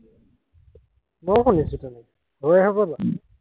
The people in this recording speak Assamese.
মইও শুনিছো তেনেকে, গৌৰীসাগৰৰ লৰা।